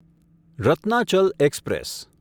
Ratnachal express